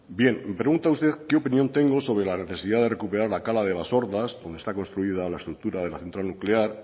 bien me pregunta usted qué opinión tengo sobre la necesidad de recuperar la cala de basordas donde está construida la estructura de la central nuclear